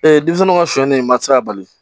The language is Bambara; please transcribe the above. denmisɛnninw ka sɔli ye maa tɛ se ka bali